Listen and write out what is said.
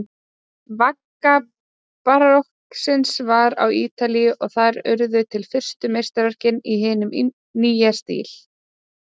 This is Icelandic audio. Vagga barokksins var á Ítalíu og þar urðu til fyrstu meistaraverkin í hinum nýja stíl.